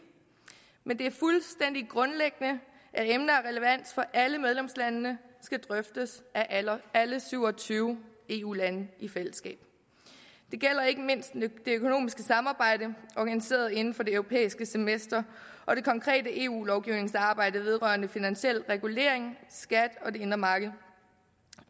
men det er fuldstændig grundlæggende at emner af relevans for alle medlemslandene skal drøftes af alle alle syv og tyve eu lande i fællesskab det gælder ikke mindst det økonomiske samarbejde organiseret inden for det europæiske semester og det konkrete eu lovgivningsarbejde vedrørende finansiel regulering skat og det indre marked